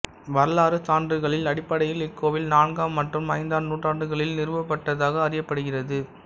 வரலாறுச் சான்றுகளில் அடிப்படையில் இக்கோவில் நான்காம் மற்றும் ஐந்தாம் நூற்றாண்டுகளில் நிறுவப்பட்டதாக அறியப்ப்படுகிறது